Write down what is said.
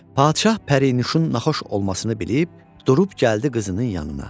Padşah Pərinuşun naxoş olmasını bilib, durub gəldi qızının yanına.